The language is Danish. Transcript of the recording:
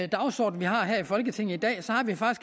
dagsorden vi har her i folketinget